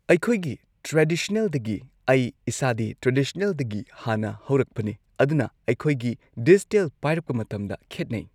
ꯑꯩꯈꯣꯏꯒꯤ ꯇ꯭ꯔꯦꯗꯤꯁ꯭ꯅꯦꯜꯗꯒꯤ ꯑꯩ ꯏꯁꯥꯗꯤ ꯇ꯭ꯔꯦꯗꯤꯁꯅꯦꯜꯗꯒꯤ ꯍꯥꯟꯅ ꯍꯧꯔꯛꯄꯅꯦ ꯑꯗꯨꯅ ꯑꯩꯈꯣꯏꯒꯤ ꯗꯤꯖꯤꯇꯦꯜ ꯄꯥꯏꯔꯛꯄ ꯃꯇꯝꯗ ꯈꯦꯠꯅꯩ꯫